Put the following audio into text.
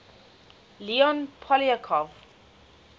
leon poliakov